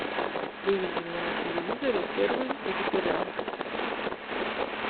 выведи мне на телевизоре первый вегетарианский